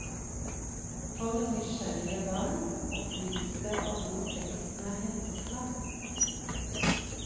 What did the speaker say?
For nysgjerrige barn opplyses det om hvor teksten er hentet fra.